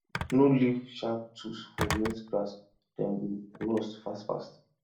no leave sharp tools for wet grass dem go rust fast fast